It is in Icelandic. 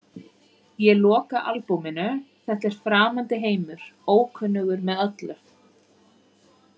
Ég loka albúminu, þetta er framandi heimur, ókunnugur með öllu.